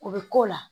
O bɛ k'o la